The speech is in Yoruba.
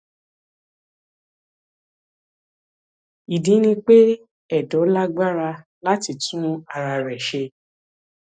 ìdí ni pé ẹdọ lágbára láti tún ara rẹ ṣe